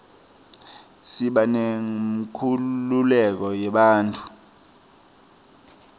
siba neyenkhululeko yebantfu